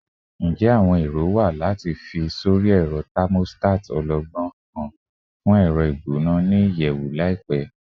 Njẹ awọn ero wa lati fi sori ẹrọ thermostat ọlọgbọn kan fun ẹrọ igbona ni iyẹwu laipẹ?